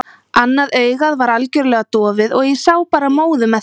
Annað augað var algjörlega dofið og ég sá bara móðu með því.